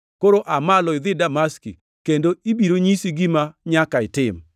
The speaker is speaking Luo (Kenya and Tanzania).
Koro aa malo idhi Damaski kendo ibiro nyisi gima nyaka itim.”